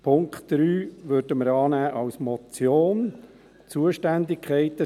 den Punkt 3 würden wir auch als Motion annehmen.